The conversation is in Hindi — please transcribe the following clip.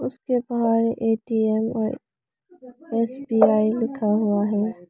उसके बाहर ए_टी_एम और एस_बी_आई लिखा हुआ है।